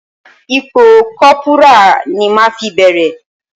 Ipò Kọ́púrà ni màá fi bẹ̀rẹ̀.